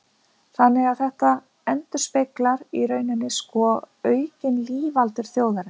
Þannig að þetta endurspeglar í rauninni sko aukin lífaldur þjóðarinnar.